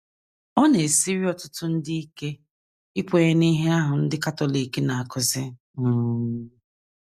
Ọ na - esiri ọtụtụ ndị ike ikwenye n’ihe ahụ ndị Katọlik na - akụzi um.